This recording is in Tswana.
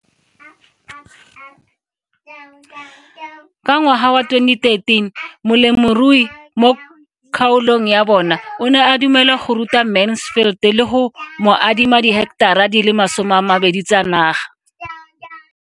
Ka ngwaga wa 2013, molemirui mo kgaolong ya bona o ne a dumela go ruta Mansfield le go mo adima di heketara di le 12 tsa naga.